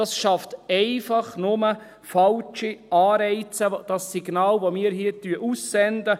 Das schafft einfach nur falsche Anreize, das Signal, das wir hier aussenden.